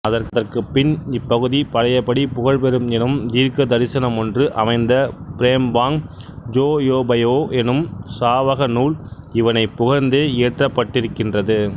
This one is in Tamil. அதற்குப்பின் இப்பகுதி பழையபடி புகழ்பெறும் எனும் தீர்க்கதரிசனமொன்று அமைந்த ப்ரேம்பாங் ஜொயோபயோ எனும் சாவகநூல் இவனைப் புகழ்ந்தே இயற்றப்பட்டிருக்கின்றது